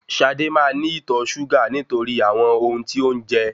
Ṣadé máa ní ìtọ̀ ṣúgà nítorí àwọn ohun tí ó ń jẹ